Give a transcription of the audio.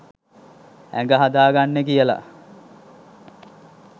ඇඟ හදාගන්නේ කියලා.